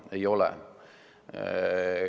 Ei ole.